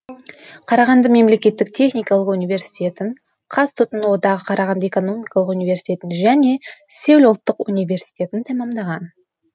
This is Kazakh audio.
қарағанды мемлекеттік техникалық университетін қаз тұтыну одағы қарағанды экономикалық университетін және сеул ұлттық университетін тәмамдаған